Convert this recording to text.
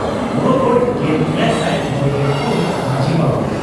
ᱵᱚᱨᱚᱜᱚᱰ ᱾ᱜᱮᱞ ᱮᱭᱟᱭᱥᱟᱭ ᱢᱚᱲᱮᱜᱮᱞ ᱯᱩᱱ ᱢᱟᱡᱷᱤ ᱵᱟᱵᱟ